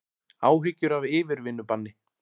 Áhyggjur af yfirvinnubanni